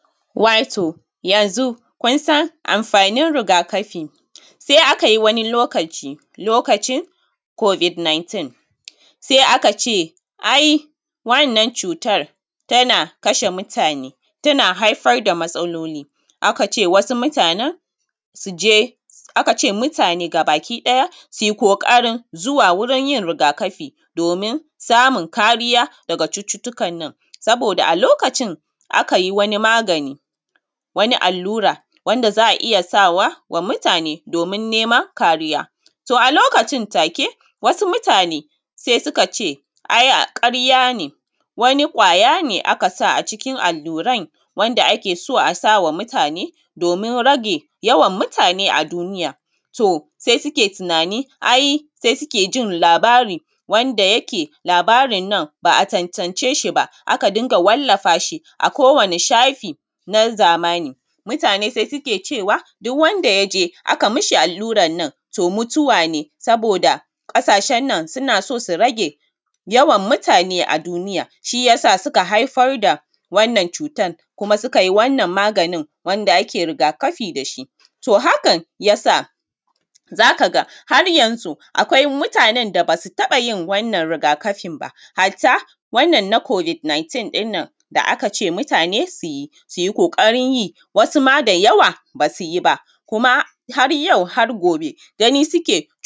Wato yanzu kun san amfani riga kafi kun san lokacin covid-19 sai aka ce wannan cutar tana kashe mutane tana haifar da matsalolin, sai aka ce mutane gaba ki ɗaya su je duk su yi ƙoƙarin yin riga kafi domin samun kariya daga cututtukan na saboda a lokacin a ka yi wani magani wani allura wanda za a iya sawa mutane domin neman kariya. To a lokacin take mutane sai suka ce ai karya ne wani ƙwaya ne aka sa a cikin alluran wanda ake so a sa ma mutane domin rage yawan mutane a duniya, sosai suke tunani sai suke jin labari wanda yake labarin nan ba a tantance shi ba. A ka dunga wallafa shi a wani shafi na zamani, mutane sai suke cewa duk wanda aka yi mishi allurar nan mutuwa ne saboda ƙasashen nan suna so su rage yawan mutane a duniya shi ya sa suka haifar da wannan cutar wannan maganin da ake riga kafi da shi hakan ya sa za ka ga har yanzu akwai mutanen da ba su taɓa yin wannan riga kafin ba, hatta wannan na covid-19 da aka ce mutane su yi. Su yi ƙoƙari wasu ma da yawa ba su yi ba kuma har yau har gobe gani suke.